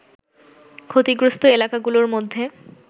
ক্ষতিগ্রস্ত এলাকাগুলোর মধ্যে